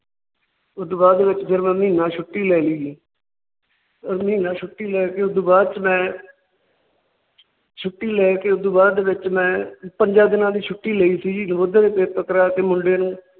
ਉਸ ਤੋਂ ਬਾਅਦ ਵਿਚ ਫਿਰ ਮੈਂ ਮਹੀਨਾ ਛੁੱਟੀ ਲੈ ਲਈ ਸੀ । ਮਹੀਨਾ ਛੁੱਟੀ ਲੈਕੇ ਉਸ ਤੋਂ ਬਾਅਦ ਚ ਮੈ ਛੁੱਟੀ ਲੈਕੇ ਉਸ ਤੋਂ ਬਾਅਦ ਵਿਚ ਮੈਂ ਪੰਜਾ ਦਿਨਾਂ ਦੀ ਛੁੱਟੀ ਲਈ ਸੀ ਜੀ। ਨਵੋਦਿਆ ਦੇ ਪੇਪਰ ਕਰਾ ਕੇ ਮੁੰਡੇ ਨੂੰ